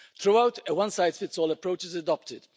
Throughout, a one size fits all approach is adopted.